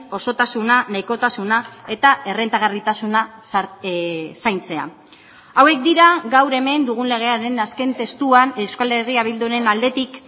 osotasuna nahikotasuna eta errentagarritasuna zaintzea hauek dira gaur hemen dugun legearen azken testuan euskal herria bilduren aldetik